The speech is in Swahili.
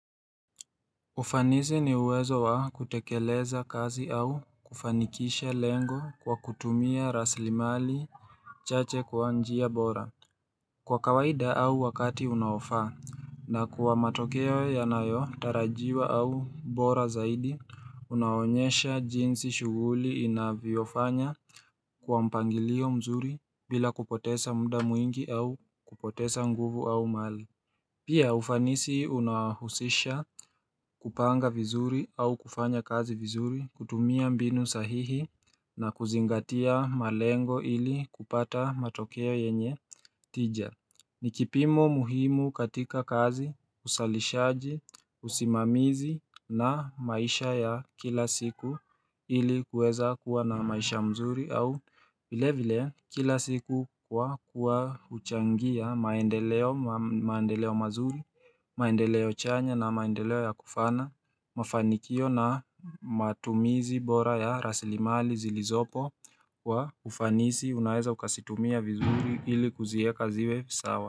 Ufanisi ni uwezo wa kutekeleza kazi au kufanikisha lengo kwa kutumia raslimali chache kwa njia bora. Kwa kawaida au wakati unaofaa na kuwa matokea yanayotarajiwa au bora zaidi unaonyesha jinsi shuguli inavyofanya kwa mpangilio mzuri bila kupotesa mda mwingi au kupotesa nguvu au mali. Pia ufanisi unahusisha kupanga vizuri au kufanya kazi vizuri kutumia mbinu sahihi na kuzingatia malengo ili kupata matokeo yenye tija. Ni kipimo muhimu katika kazi, usalishaji, usimamizi na maisha ya kila siku ili kuweza kuwa na maisha mzuri au vile vile kila siku kwa kuwa uchangia maendeleo mazuri, maendeleo chanya na maendeleo ya kufana mafanikio na matumizi bora ya raslimali zilizopo wa ufanisi unaeza ukasitumia vizuri ili kuzieka ziwe sawa.